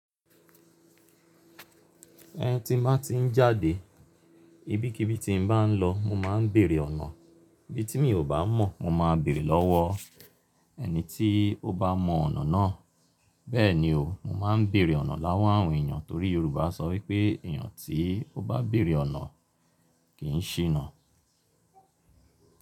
Tin ba tí ń jáde, ibikíbi tí n bá ń lọ, mo máa ń bèèrè ọ̀nà. Ibi tí mi ò bá mọ̀, mo máa béèrè lọ́wọ́ ẹni tí ó bá mọ ọ̀nà náà. Bẹ́ẹ̀ni o, mo máa ń bèèrè ọ̀nà lowọ̀ àwọn èèyàn torí Yorùbá sọ wípé èèyàn tí ó bá béèrè ọ̀nà kì ń ṣìnà.